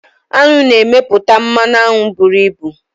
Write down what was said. Aṅụ na-emepụta mmanụ aṅụ buru ibu.